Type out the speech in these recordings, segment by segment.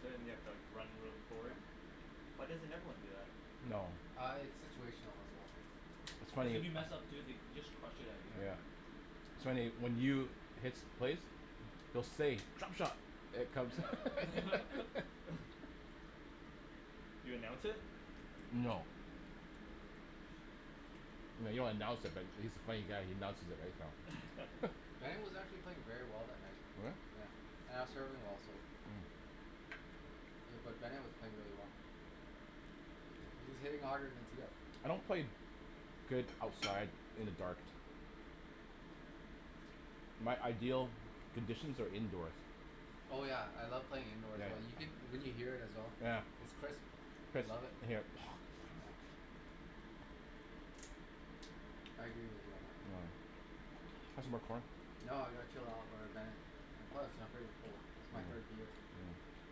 So then you have to like run real forward? Yeah. Why doesn't everyone do that? No. Ah it's situational as well. It's Cuz funny. if you mess up too they just crushed it outta Yeah. your Yeah. air. So anyway when you hits place you'll say "drop shot". You announce it? No. No you don't announce it but he's a funny guy he announces it right. Bennet was actually playing very well that night, Oh yeah. yeah, and I was serving well so. Hmm Bu- but Bennet was playing really well. He he was hitting harder then Tia. I don't play good outside in the dark. My ideal conditions are indoors. Oh yeah I love playing indoors well you can you can hear it as well. Yeah, yeah. I Chris love it. yup. Yeah. I agree with you on that. No. Ca- have some more corn? No or ah Bennet. Plus I'm pretty cold my third year.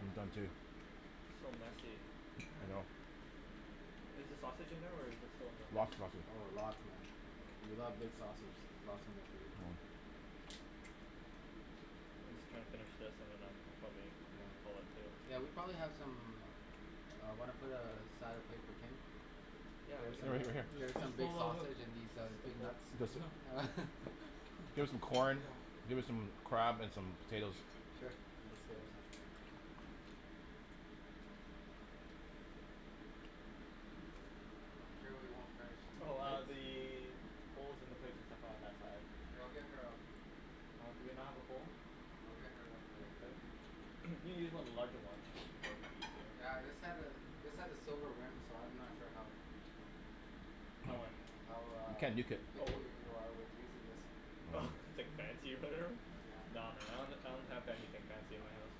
I'm done too. So messy. I know. Is the sausage in there or is it in the thing? Lots of sausage. Oh lots man. You love big sausage, lots in there. Oh. I'm just gonna finish this and then I'm probably Yeah. gonna call it. Yeah we probably have some. Ah wanna put a a side of plate for Kim? Yeah Get her we could some do b- that. get her some big Ho- ho- sausage and hold. these uh The big whole nuts. There's This one. som- There's some corn, there some crab and some potatoes. I'm sure we won't finish. Oh ah the bowls and the plates and stuff are on that side. We'll get her a Oh do we not have a bowl? Oh okay. you can use one of the larger ones it'll be probably easier. Yeah this has a this has a silver rim so I'm not sure how. How what? How You ah can't nuke it. Oh picky wha- you are with using this. Hmm Oh like or whatever? Nah man I don- don't that have anything fancy in my house.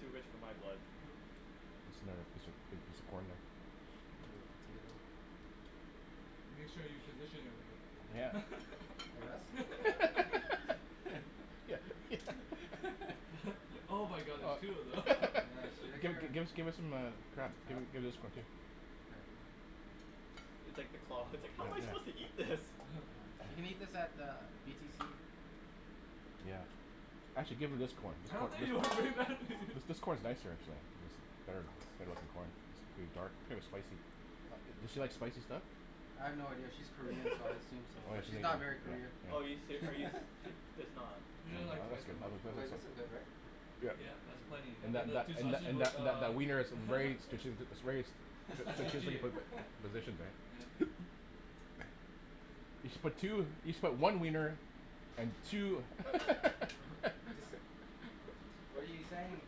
Too rich for my blood. What's the matter a piece a piece of corn there. Make sure you position it right. us. Yeah can just can I Give get her her. give her some um crab Yeah. give this one too. Okay. It's like the claw, it's I like "how am I suppose to can't. eat this"? She can eat this at the BTC. Yeah. Actually give her this corn. I don't think This corn's nicer actually or good looking corn pretty dark here's spicy. Does she like spicy stuff? I have no idea, she's Korean so I assume so Oh yeah but she's not very Korean. Oh are you she's seri- are you ser- it's not. You don't like spice that much. Well like this is good right? Yup, that's plenty And and then that those that two that sausages and that that uh that wiener is very is very strategically positioned. Yeah. You should but two you should put one wiener and two. What are you saying?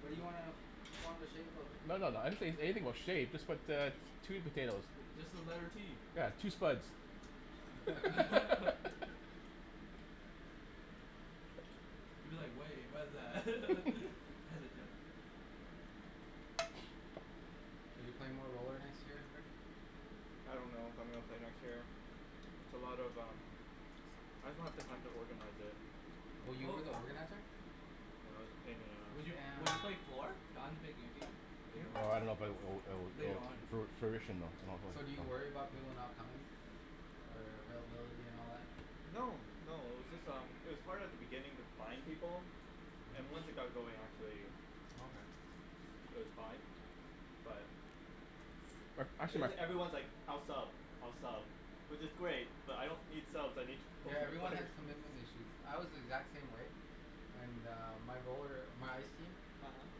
What do you wanna form the shape of? No no no I didn't say anything about shape just put uh two potatoes. Just the letter T. Yeah two spuds. You're like way what's that hesitant. Are you playing more roller next year Rick? I don't know if I'm gonna play next year. It's a lot of um. I just don't have the time to organize it. Oh you were the organizer? No it was a pain in the Would ass. you would you play four Don's making a team. Hum? Oh I love o o o Later on. o o furnishing them. So do you worry about people not coming? Or uh availability and all that? No, no, it was just um it was hard at the beginning to find people and once Hmm it got going actually Oh okay. it was fine. But But It actually jus- everyone's like I'll sub I'll sub which is great but I don't need subs I need pa- Yeah everyone players. has commitment issues, I was the exact same way. And uh my roller my ice team. uh-huh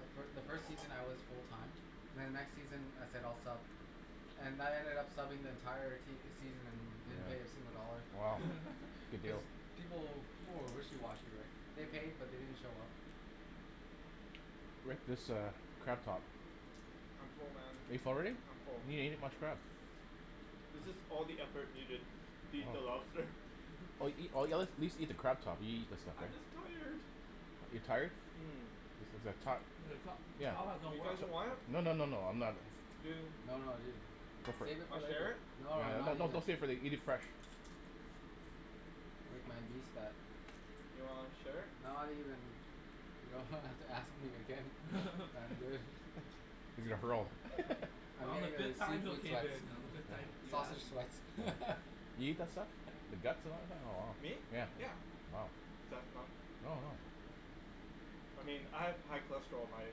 The fi- the first season I was full time. Then the next season I said I'll sub. And I ended up subbing the entire season. Yeah, wow, good deal. People will people were wishy washy right. They paid uh-huh but they didn't show up. Rick this uh crab top. I'm full man, Are you full already? I'm full. You didn't each much crab. This is all the effort we did to eat the Oh. lobster. Or eat a at least eat the crab top you eat this stuff? I'm just tired. You're tired? um The Yeah. top has no You no no guys don't want it? No no no no no I'm I'm not. not. You No no ju- Go for it. Save it for Wanna share later. it? No No no not no even. don't save it eat it fresh. Rick man beast that. Do you wanna share it? Not even. You don't ha- have to ask me again I'm good. He's gonna hurl. I'm getting uh seafood sweats. complicated. Sausage sweats. Me? Yeah. Is that not I mean I have high cholesterol, my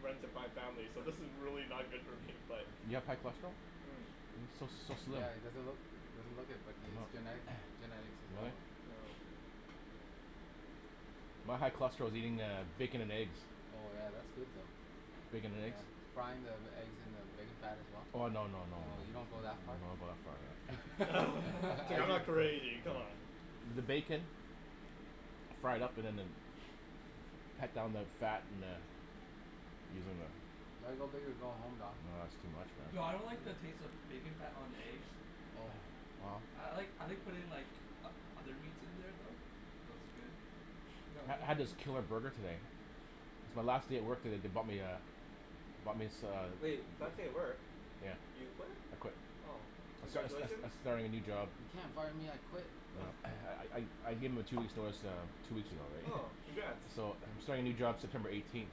runs in my family so this is really not good for me but You have high cholesterol? Hmm You so so slim. Yeah it doesn't look doesn't look it but i- its uh-huh. genetic. Oh. No. My high cholesterol is eating uh bacon and eggs. Bacon and eggs. Frying the eggs in the bacon fat as well? Oh no no no. You don't go that No I far? don't go Dude that far man. I'm not anything come on. You gotta go big or go home Don. Nah that's too much man. No I don't like the taste of bacon fat on the eggs. I like I like putting in like o- other meats in there though. I ha- had this killer burger today. It's my last day at work today they bumped me uh they bumped as- uh Hey, last day at work. Yeah. You quit? I quit. Oh. I sta- sta- Congratulations. I starting a new job. Uh No I I I gave em a two weeks notice that I'm two weeks ago Oh right. congrats. So I'm starting a new job September eighteenth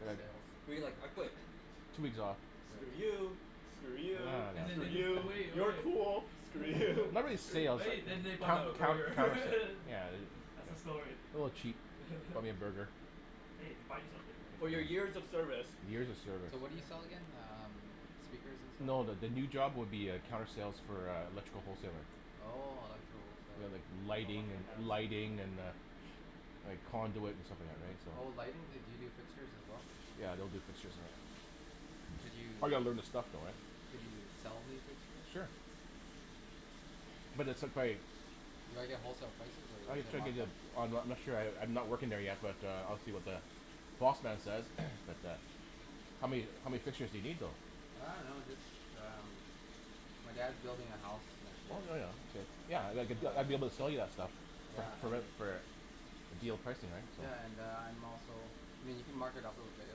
but like So We're you're you like like I "I quit. quit"? two weeks off. So Screw yay. you. For Screw you, real, And then for screw they Yeah you, you. so cool. Screw Screw you. you. and then they bought him Oh. a burger Yeah. That's the story. A little chap bought me a burger. Hey they bought you something ri- For For your your years years of of service. service. Years of So what service. do you sell again? um speakers and No the the new stuff. job would be uh counter sale for uh electrical wholesaling. Oh electrical whole Yeah like seller. lighting an- lighting and uh Like conduit and stuff like that so. Oh lighting do yo- do you do fixtures as well? Yeah they'll do fixture and that. Could you? I gotta learn the stuff though right? Could you sell me fixtures? Sure. But it's just like. Do I get wholesale prices or I gotta do you check it markup? yet. Oh I I'm not sure I I'm not working there yet but uh I'll see what the prospects says but uh How many how many fixtures do you need though? I don't know just um my dad's building a house that's Oh it. yeah yeah okay. Yeah I'd get I'd be able to Um sell you that stuff. Yeah I For a would. for a deal pricing right so. Yeah and uh I'm also I mean you can mark it up a little bit it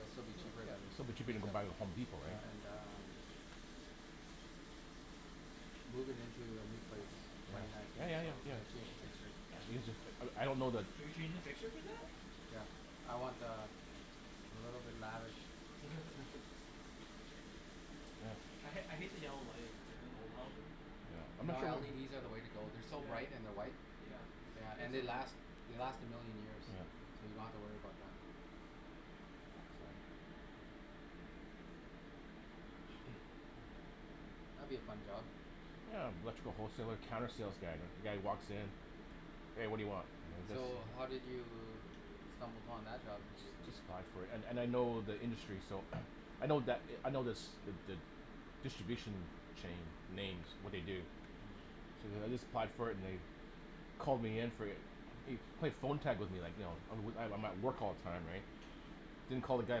will still be cheaper then still be cheaper than buy at HomeDepot right and uh moving into a new place twenty ninth of Yeah yeah April I'm yeah, gonna yeah change the fixtures. easier. I I don't that Can yo- your fixtures do that? Yeah I want uh a little bit lavish. I ha- I hate the yellow lighting. Yeah. No LEDs are the way to go they're so Yeah. light and they're white. Yeah. Yeah and they last. They last a million years Yeah. so you don't have to worry about them. That'll be a fun job. Yeah electrical wholesaler counter sales guy the guys who walks in hey what do you want? So how did you stumble upon that job? I just just applied for it and and I know the industry so I know that I know this the the distribution chain names what they do so then I just applied for it and they called me in for an they they played phone tag with me like you know I I'm at work all the time right I don't call the guy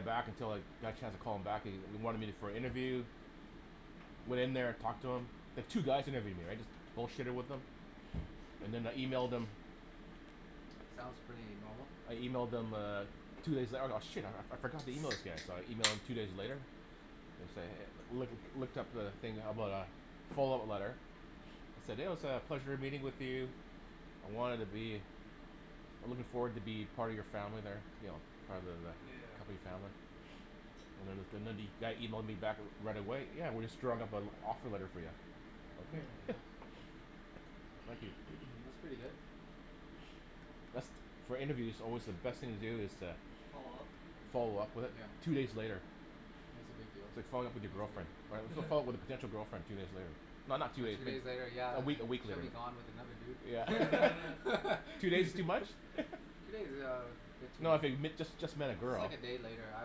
back until like I got a chance to call him back he he wanted me for an interview went in there talked to him there's two guys that interviewed me right just bull shitted with them and then I emailed them. Sounds pretty normal. I emailed them uh two days out oh shit I I forgot to email those guys so I emailed two days later to say hey loo- looked up the thing about uh follow-up letter said oh said "it was a pleasure meeting with you" I wanted to be I'm looking forward to be part of your family there part of the Yeah. company family. And the- then the guy emailed me back right away "yeah we're just drawing up an offer letter for you". Hmm That's pretty good. For interview it's alway the best thing to do is to follow-up with it Yeah two days later. that's a big deal. It's like following up with your girlfriend right follo- followup with a potential girlfriend two days later not not two days Two days later later year a uh uh week a week she'll later. be gone with another dude. Yeah. Two days too much? No I fig- if you just just met a Just girl. like a day later I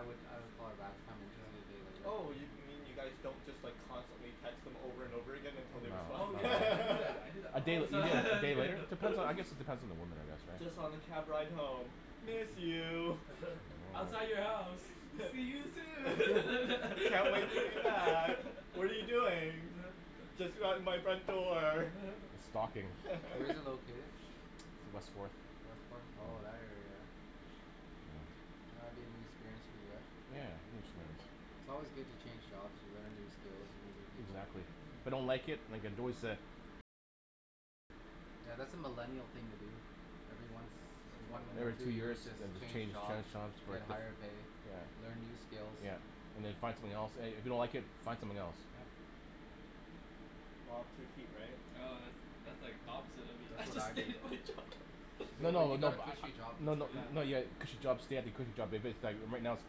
would I would call her back if I'm interested a day later. Oh yo- you mean you guys don't just like constantly text them over and over again until they respond? No Oh yeah I do no. that I do that A day all the a day later time. depends I guess it depends on the woman I guess right. Just on the cab ride home, "Miss you". I don't know "Outside man. your house see you soon". "Can't wait to hear you back. What are you doing"? "Just around out my front door." Stalking. Where's it located? It's west fourth. West fourth oh that area eh? That'll be anew experience for you eh? Yeah hear it's nice. It's alway good to change jobs you learn new skills and meet new people. Exactly. If I don't like it I can always uh Yeah that's a millennial thing to do ever once Too one or Every millennial. two two years year just just change change change jobs. jobs you for, get higher pay yeah, learn new skills. yeah And then you find something else and and if you don't like it find something else. Yeah. Ah too cute right? Oh that- that's like opposite of That's what the I did. of what I do. No No but you no. got a cushy job. No no, no you have Yeah. a cushy job stay at the cushy job but but that right right now it's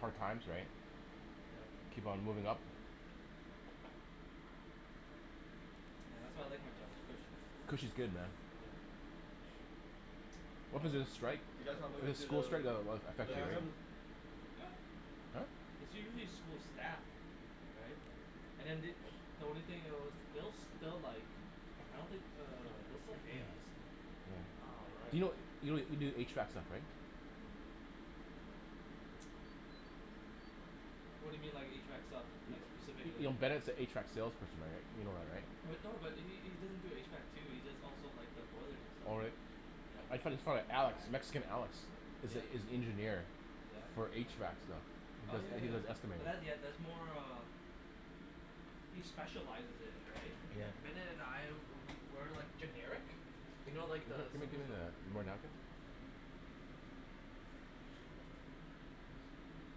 hard times right. Keep on moving up. Yeah that's why I like my job its cushy. Cushy's good man. What was the Um strike you guys want to the school the strike that that um effected Yeah you living let's right? room? move. Yup. Hmm? It's usually school staff. Hmm Right and then they the only thing else they- they'll like I don't think uh they'll still pay us. Hmm All Do right. you kno- you can do HVAC stuff right? What do you mean like HVAC stuff? Like Yo- specifically. you know Bennett's an HVAC sales person right? You know that right? But no but he he he doesn't do HVAC too he does also like the boilers and Oh stuff. really? I don't My Yeah. think, frie- friend hey Alex, guys Mexican we should Alex, move in here. is Yeah. is the engineer. Yeah. I don't For think they like us HVAC very stuff. much. He Oh does and he yeah does No yeah estimate. but that's yeah they're that's uh more caught uh between us he and their specializes conversation. in it right? Bennet and I we- we're like generic you know like the So Gimme gimme Jen simplify. told me you guys are the hiring and I was almost tempted to apply. Why don't you? It would be awesome.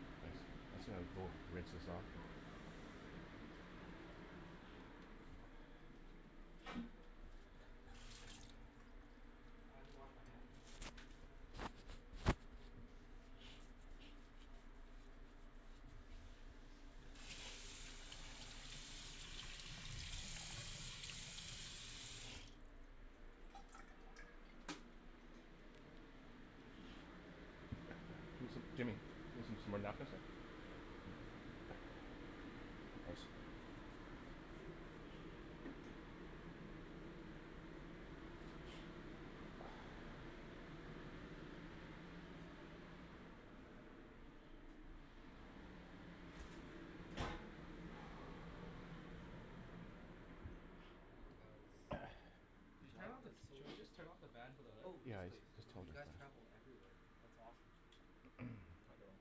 uh That's a four rinse this off. Though, I don't know if you want to say it on camera. It's um that's fine I mean I'm I didn't maybe wash I my need a hands. few more months of stability Hmm like maybe four more months you guys yeah and it's kinda hard to leave right now cause the company's going through a tough time Ah that's fair. Yeah Jimmy ca- can I I have some thought more that's the napkins best time to leave. No. Um so I know we're gonna weather the storm. uh-huh And it'll be it'll look really good if I stay and its also pay cut. Oh. Yeah but it's it's tempting because the Did you turn job of- is so should we just interesting. turn off the fan for the hood? Yeah Oh yes yeah I please. just told you him that. guys travel everywhere that's awesome. I don't.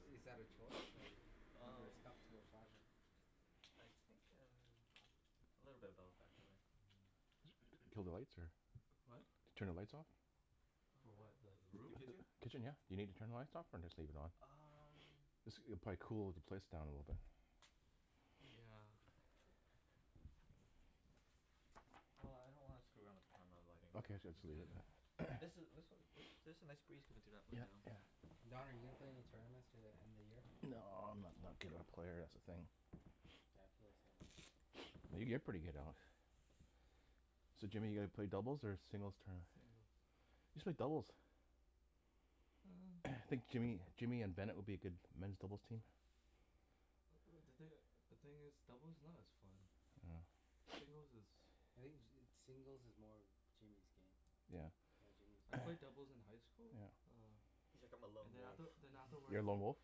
I- is that a choice or you're Umm stuck to a project? I think umm a little bit of both actually. Hmm Kill the lights or? What? Turn the lights off? For what the the Oh the room? kitchen? Kitchen yeah. You need to turn the lights off or just leave it on? Umm this it'll cool the place down a little bit. Yeah. If I can. Well I don't want to screw around with the camera the lighting, so Okay I'm jus- just just leave gonna it leave it. And this this then. was there's a nice breeze coming through that Yup window. yeah. Don are you gonna play in any tournaments to the end of the year? Nah I'm not not good of a player that's the thing Yeah I feel the same way. yo- you're pretty good Alex. So Jimmy your gonna play singles or doubles tournament? Singles. You should play doubles. hmm I think Jimmy Jimmy and Bennet would be a good men's doubles team. Uh uh the thin- the thing is doubles is not as fun. oh Singles is. I think ju- singles is more Jimmy's game. Yeah. Yeah Jimmy's I played doubles in high school yeah. uh He's like "I'm a and lone then wolf". after then uh-huh. You're afterwards a lone wolf?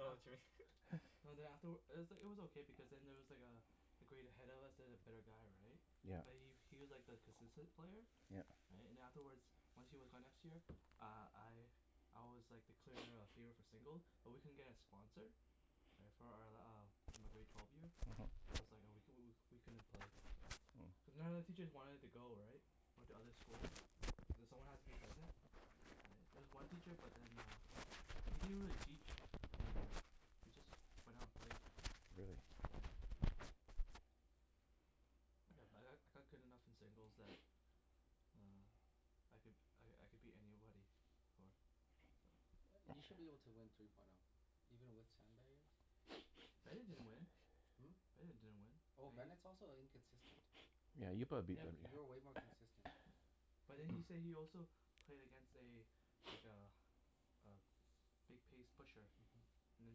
dah. Jimmy No then afterw- it was it was okay because then there was like uh a grade ahead of us there's a better guy right Yeah. but he he was like the consistent player Yeah. right and then afterwards once he was gone next year uh I I was like the clear uh favor for single but we couldn't get a sponsor right for our uh for my grade twelve year uh-huh. that's was like oh we couldn- we couldn't play cuz none of the teachers wanted to go right went to other schools cuz someone has to be present there was one teacher but then uh but he didn't really teach anything we just went out and played. Really? Yeah yeah but I I got good enough in singles that um I could I I could beat anybody for so. Yea- you should be able to win three point o even with sandbagger Bennet bet play. didn't win. Hmm? Bennet didn't win Oh and he. Bennet's also inconsistent. yeah you'll probably beat Yeah Yeah Bennet b- you're way more consistent. but then he say he also played against a like a a big pace pusher uh-huh. and then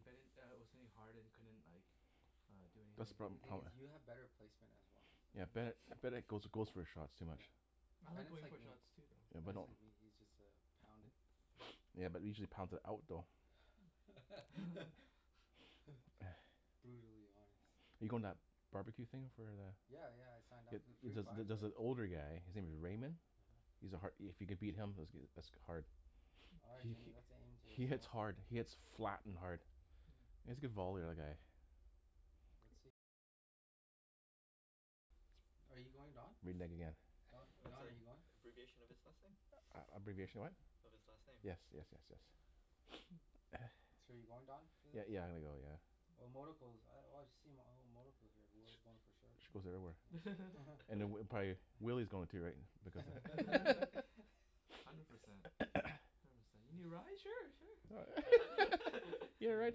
Bennet uh was hitting hard and he couldn't like uh do That's the anything The proble- thing hum eh? is you have better placement as well. yeah Yeah. Bennet Bennet goes goes for shots too much. Yeah. I like Bennet's going like for me. shots too though. Yeah but Bennet's don't. like me he just uh pound it. Yeah usually he's pounds it out though. Brutally honest. you goin- to that bar-b-que thing for the? Yeah yeah I signed Jup up it for the it free prize jus- just right. an older guy his name is Raymond.. uh-huh. He's a har- if you can beat him that's goo- that's hard All right he Jimmy he, let's aim to he hits smoke. hard, he hits flat and hard. Hm. He has a good volley the other guy. Are you going Don? Renege again. Uh Don, that's Don are you going? abbreviation of his last name. A- abbreviation of what? Of his last name. Yes, yes yes yes. So you're going Don for Yeah this? yeah I'm gonna go yeah. Oh I've oh I've seen oh here whoever's going for sure. She goes everywhere. And then prob- probably Willy's going to right because. Hundred percent. you need a ride sure sure. You wanna a ride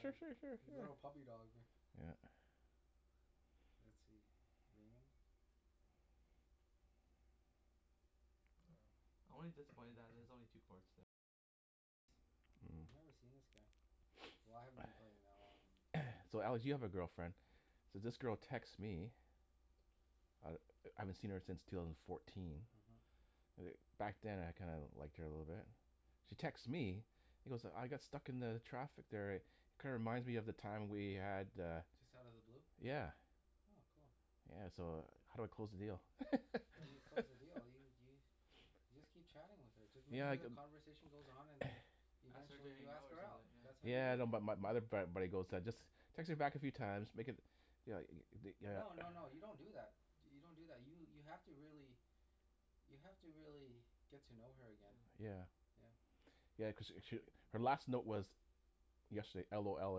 sure sure sure sure. little puppy dog ri- Yeah. Let's see Raymond. Hmm. I've never seen this guy. Why I haven't been playing that long and. So Alex you have a girlfriend. So this girl texts me I I haven't seen her since two thousand and fourteen uh-huh. uh back then I kinda liked her a little bit she texts me Mm. you know so I got stuck in the traffic there eh kinda reminds me of the time we had uh Just outta the blue? yeah Oh cool. yeah so uh how do I close the deal? How do you close the deal? Do you do you- You just keep chatting with her just make Yeah I sure the cu- conversation goes on and then you Ask her to eventually hangout ask or her out, something that's yeah. how you Yeah do I know it. bu- but my other frat buddy goes just text her back a few time make it you know the th- No no no you don't do that do- you don't do that you have to really you have to really get to know her again. Yeah. Yeah. Yeah cause she sh- her last note was yesterday LOL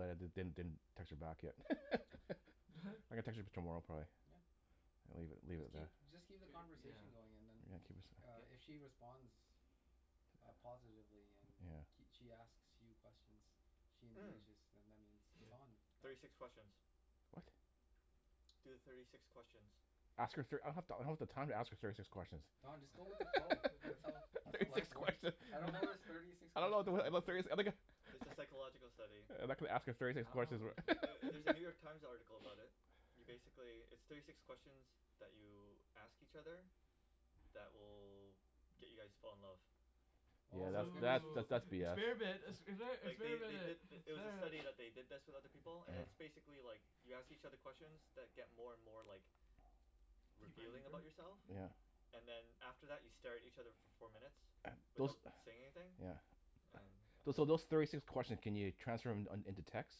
and I didn- didn't text her back yet I'm What? gonna text her tomorrow probably Yeah. and leave leave it Just at that keep just keep the do yeah conversation going and then yeah keep it uh get if she responds uh positively and yeah kee- she asks you questions she Umm engages then that means it's on thirty Don six questions what? Do the thirty six questions. Ask her thir- I don- I don't have the time to ask her thirty six Oh questions Don just go with the Oh flow that's all that's thirty how six life works questions I I don't don't know this thirty six I don't know questions abo- thing about thirty si- yeah I'm gonna It's a psychological study. Uh I'm not gonna ask her thirty six I questions wh- don't know. Ther- there's a New York Times article about it. You basically, there's thirty six questions that you ask each other that will get you guys to fall in love. Yeah Oh my So goodness. that's that's Oh that's BS experiment expe- Like they experiment they did it th- it was a experiment. study that they did this with other people and it's yeah basically like you ask each other questions that get more and more like deeper and revealing deeper about yourself. yeah yeah And then after that you stare at each other for four minutes those without saying anything yeah And Those umm so those thirty six questions can you transfer them in into text?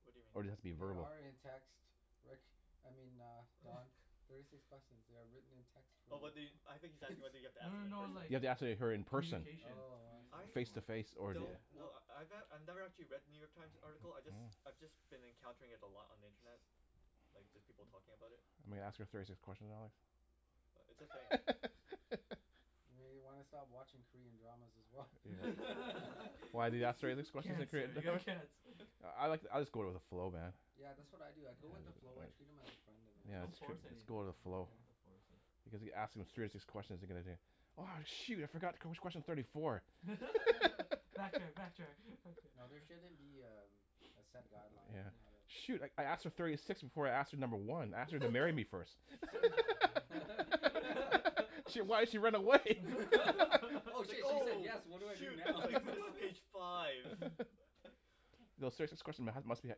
What do you mean? Or does it have be They verbal? are in text. Rick, I mean uh Don thirty six question. they are written in text for Oh well, you I I think he's asking whether you have to No ask them no in no Do person. you like have to ask he- her co- in person? communication Oh I see. I Face to face or one yeah? wel- yeah don't wel- kno- I ne- I've never actually read the New York Times article I Hmm jus- hmm I've just been encountering it a lot on the internet. Like just people Hm talking about it. I'm gonna ask her thirty six questions Alex. But it's a thing. Maybe you wanna stop watching Korean dramas as well. Yeah. Why do they ask thirty six questions in Korean cancer you have dram- ? cancer. I like I'll just go with the flow man. Yeah yeah that's what I do I go with the yeah. flow I treat them as a friend and it Yeah, works yeah don't its true force just anything, go with the yeah you flow. don't Yeah. have to force it. Because if you ask them thirty six questions you're gonna do "oh shoot I forgot wh- which question's thirty four". backtrack backtrack, backtrack. No there shouldn't be um a set guideline Yeah. on Yeah. how to Shoot I I asked her thirty six before I asked her number one, I asked her to marry me first. shit why'd she run away? oh it's like shit she said oh yes what do I do shoot it's now like this is page five. uh-huh No serious- this question must be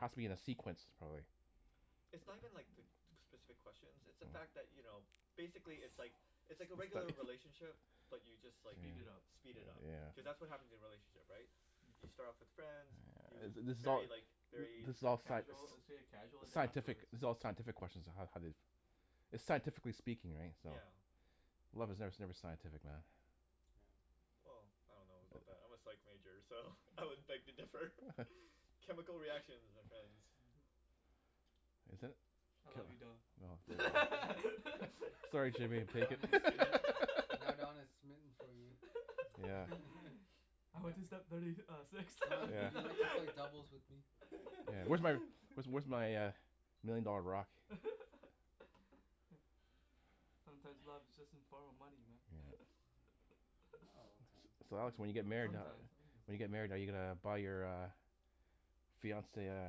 has to be in a sequence probably. It's not even like the specific questions it's the fact that Hm you know basically it's like it's It's like a all regular right. relationship but you just like, Speed it up. Yeah. speed it up Yeah. Cuz that's what happens in relationship right? You start off as friends you, yeah thi- it's this is all very like very this is like all sci- casual superficial. it's a casual sci- the scientific this is all scientific question on how how they It's scientifically speaking right, so? Yeah. Love is ne- never scientific man. Well I don't know about that, I'm a psych major so I would beg to differ, chemical reactions my friends. uh-huh Is it? I love you Ca- Don. no fo Sorry Jimmy I'm taken. Don is smi- now Don is smitten for you. Yeah. I went to step thirty uh six Don would you Yeah. like to play doubles with me? Yeah where's where's where's my million dollar rock? hm Sometimes love is just in form of money man Yeah. Not all the time. So Alex when you get Yeah married how- sometimes When you get married are uh-huh you uh gonna buy your uh fiance uh